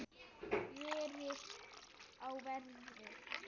Verið á verði.